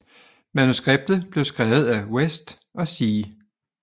Manuskriptet blev skrevet af West og C